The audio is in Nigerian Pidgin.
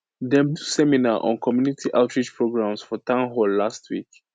dem do seminar on community outreach programs for town hall last week